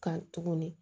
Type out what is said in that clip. Kan tuguni